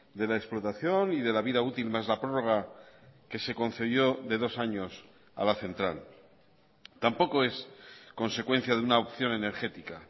de la explotación y de la vida útil más la prórroga que se concedió de dos años a la central tampoco es consecuencia de una opción energética